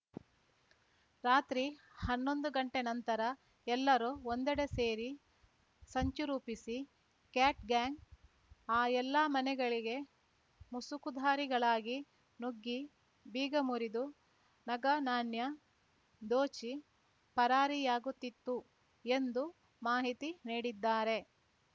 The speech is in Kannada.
ರಾತ್ರಿ ಹನ್ನೊಂದು ಗಂಟೆ ನಂತರ ಎಲ್ಲರೂ ಒಂದೆಡೆ ಸೇರಿ ಸಂಚು ರೂಪಿಸಿ ಕ್ಯಾಟ್‌ ಗ್ಯಾಂಗ್‌ ಆ ಎಲ್ಲಾ ಮನೆಗಳಿಗೆ ಮುಸುಕುಧಾರಿಗಳಾಗಿ ನುಗ್ಗಿ ಬೀಗ ಮುರಿದು ನಗನಾಣ್ಯ ದೋಚಿ ಪರಾರಿಯಾಗುತ್ತಿತ್ತು ಎಂದು ಮಾಹಿತಿ ನೀಡಿದ್ದಾರೆ